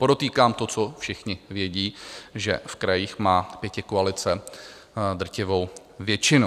Podotýkám to, co všichni vědí, že v krajích má pětikoalice drtivou většinu.